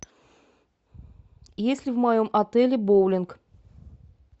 есть ли в моем отеле боулинг